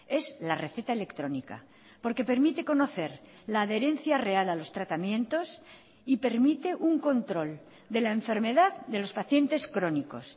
es la receta electrónica porque permite conocer la adherencia real a los tratamientos y permite un control de la enfermedad de los pacientes crónicos